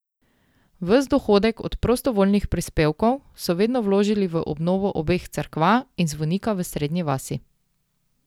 Ves dohodek od prostovoljnih prispevkov so vedno vložili v obnovo obeh cerkva in zvonika v Srednji vasi.